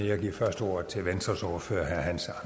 jeg giver først ordet til venstres ordfører herre hans